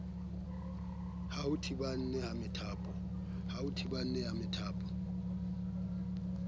ba ho thibana ha methapo